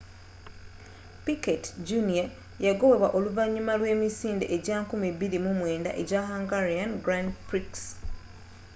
piquet jr yagobebwa oluvanyuma lw'emisinde ejja 2009 ejja hungarian grand prix